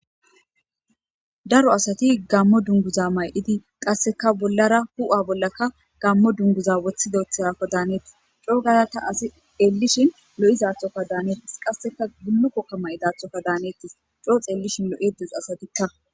daro asati gammo dunguza may7idi qasseka bollara hu7a bollaka gammo dunguza woththidethkko daaneetis coo gayata asi xeellishin lo7izaathoka daaneettis qasseka gulukokka may dathoka daanettis coo xeellishin lo7edes asatikka